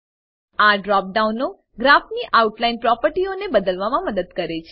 આ ડ્રોપ ડાઉનો ગ્રાફ ની આઉટલાઈન પ્રોપર્ટીઓને બદલવામાં મદદ કરે છે